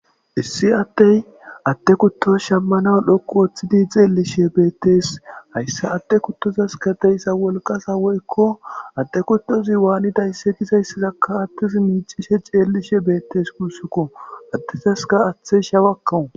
issi attey atte kuttoz shammana lhokku ooththidi xeellishe beettees hayssa atte kuttozas kadeyssa wolqasa woykko adde kuttozi waanidaysse gizayssizakka attis miicishe ceellishe beettes kusssukko attizaska aththe shawakkawu